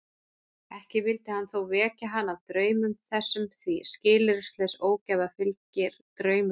Ekki vildi hann þó vekja hana af draumum þessum því skilyrðislaus ógæfa fylgir draumrofi.